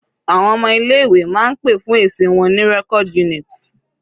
Àwọn ọmọ ilé ìwé máa ń pè fún èsì wọn ní record unit.